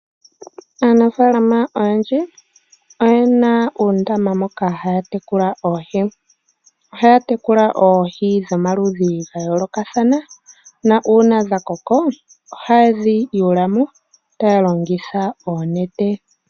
Aanafaalama oyendji oye na uundama moka haa tekula oohi. Ohaa tekula oohi dhomaludhi ga yoolokathana , na uuna dha koko, oha ye dhi yuula mo, taa longitha oonete.